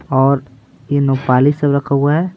और यह सब रखा हुआ है।